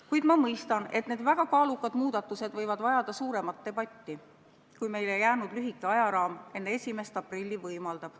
Kuid ma mõistan, et need väga kaalukad muudatused võivad vajada suuremat debatti, kui meile jäänud lühike ajaraam enne 1. aprilli võimaldab.